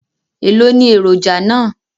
Èló ni èròjà náà?